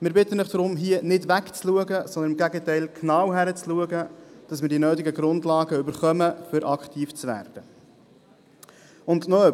Wir bitten Sie deshalb, hier nicht wegzuschauen, sondern im Gegenteil genau hinzuschauen, damit wir die nötigen Grundlagen erhalten, um aktiv werden zu können.